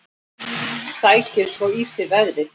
Sækir svo í sig veðrið.